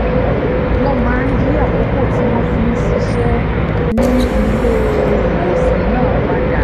wọ́n máa ń yí àkókò tí wọ́n fi ń ṣiṣẹ́ ní ilé-ìwòsàn náà padà